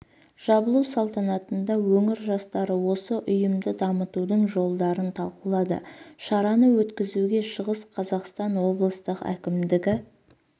жабылу салтанатына өңір жастары осы ұйымды дамытудың жолдарын талқылады шараны өткізуге шығыс қазақстан облыстық әкімідігі